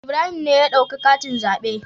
Ibrahim ne ya dauki katin zaɓe.